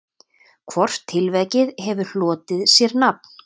Hvort tilvik hefur hlotið sér nafn.